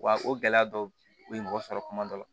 Wa o gɛlɛya dɔ bɛ mɔgɔ sɔrɔ kuma dɔ la